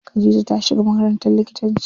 Khadija ta shiga makarantar likitanci.